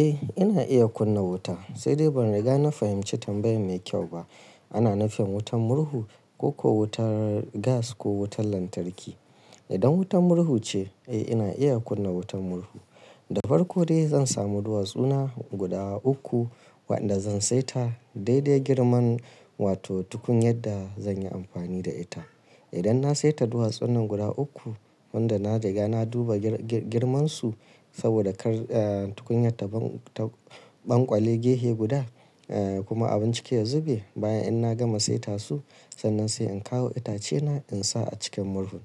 Eh ina iya kunna wuta, sai dai ban riga na fahimci tambayar mai kyau ba. Ana nufin wutar murhu ko kuwa wutar gas ko wutar lantarki. Idan wutar murhu ce, eh ina iya kunna wutar murhu. Da farko dai zan samu duwatsuna guda uku wanda zan saita dai dai girman wato tukunya da zanyi amfani da ita. Idan na saita duwatsunan guda uku wanda na riga na duba girman su saboda kar, eh, tukunya ta ɓang, ta ɓankwale gehe guda, eh kuma abin ciki ya zube. Bayan in na gama saita su, sannan sai in kawo itace na in sa a cikin murhun.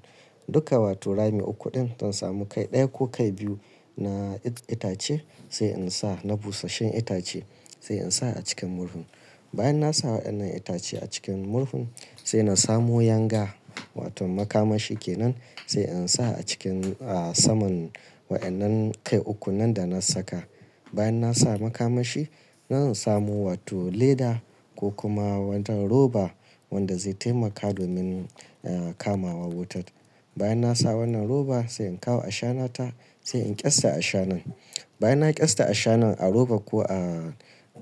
Duka wato rami uku din zan samu kai ɗaya ko kai biyu na itace sai in sa na busasshen itace sai in sa a cikin murhun. Bayan na sa wa'annan itace a cikin murhun sai na samo yanga wato makamashi kenan sai in sa a cikin, ah, saman wa'annan kai uku nan da na saka. Bayan na sa makamashi, zan samu wato leda ko kuma wannan roba wanda zai taimaka domin, eh, kamawan wutar. Bayan na sa wannan roba sai in kawo ashana ta sai in ƙyasta ashanan. Bayan na ƙyasta ashanan a roba ko a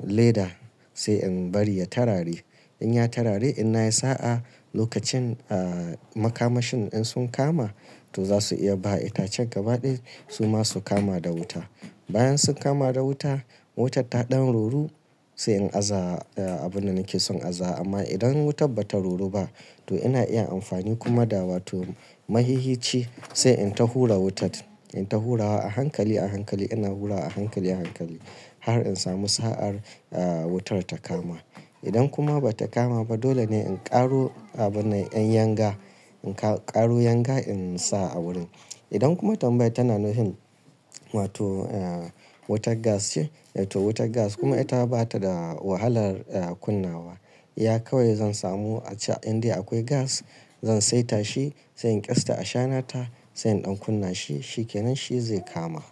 leda sai in bari ya tarare. In ya tarare inna yi sa'a lokacin, ah, makamashin in sun kama to za su iya bawa itacen gaba ɗaya suma su kama da wuta. Bayan sun kama da wuta, wutar ta ɗan ruru sai in aza abunda nake son aza amma idan wutar bata ruru ba to ina iya amfani kuma da wato maihici sai in ta hura wutar. In ta hurawa a hankali a hankali ina hurawa a hankali a hankali har in samu sa'ar, ah, wutar ta kama. Idan kuma bata kama ba dole ne in ƙaro abun nan, yan yanga, in ƙa-ƙaro yanga in sa a wurin. Idan kuma tambayar tana nufin wato, eh, wutar gas ce, to wutar gas kuma ita bata da wahalar, eh, kunnawa. Iya kawai zan samu a can inda akwai gas zan saita shi sai in ƙyasta ashanan ta sai in ɗan kunna shi, shi kenan shi zai kama.